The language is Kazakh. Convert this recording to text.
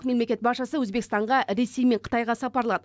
мемлекет басшысы өзбекстанға ресей мен қытайға сапарлады